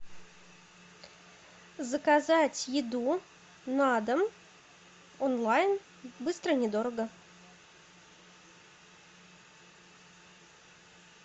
заказать еду на дом онлайн быстро недорого